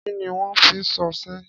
Kí ni wọ́n ń fi sọ́ọ̀ ṣe?